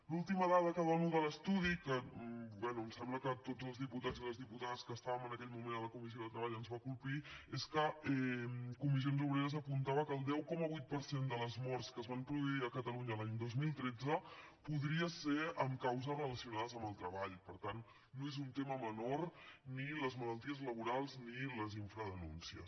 l’última dada que dono de l’estudi que bé em sembla que a tots els diputats i les diputades que estàvem en aquell moment a la comissió de treball ens va colpir és que comissions obreres apuntava que el deu coma vuit per cent de les morts que es van produir a catalunya l’any dos mil tretze podrien ser per causes relacionades amb el treball per tant no són un tema menor ni les malalties laborals ni les infradenúncies